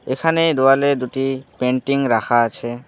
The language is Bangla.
এখানে দেওয়ালে দুটি পেন্টিং রাখা আছে।